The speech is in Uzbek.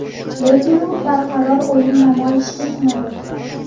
Lekin u barqaror o‘yin namoyish etmadi.